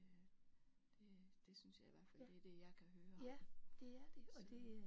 Ja det det synes jeg i hvert fald det er det jeg kan høre så